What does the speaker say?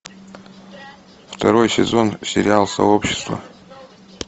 второй сезон сериал сообщество